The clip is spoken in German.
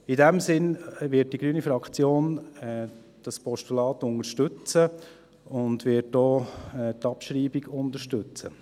In diesem Sinn wird die grüne Fraktion dieses Postulat unterstützen und wird auch die Abschreibung unterstützen.